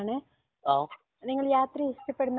ഞാൻ നിങ്ങളുടെ അഭിപ്രായം ചോദിക്കാൻ വേണ്ടി വിളിച്ചതാണ്